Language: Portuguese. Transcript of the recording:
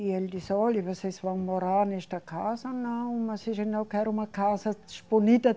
E ele disse, olhe, vocês vão morar nesta casa não, imagino que era uma casa.